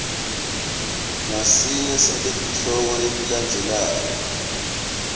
ngasinye saletihloko letilandzelako